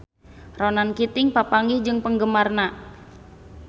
Ronan Keating papanggih jeung penggemarna